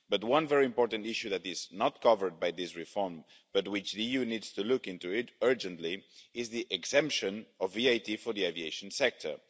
But one very important issue that is not covered by this reform, but which the EU needs to look into urgently, is the exemption of VAT for the aviation sector.